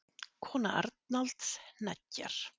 Kona Arnalds hneggjar.